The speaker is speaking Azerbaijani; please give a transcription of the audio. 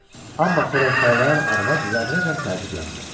Amma xörək paylayan arvad zərrəcə təəccüblənmədi.